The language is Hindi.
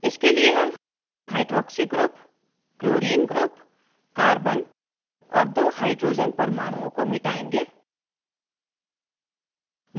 इसके लिए हम hydroxy group chlorine group carbon और दो hydrogen परमाणुओं को मिटायेंगे